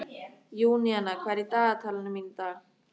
Júníana, hvað er í dagatalinu mínu í dag?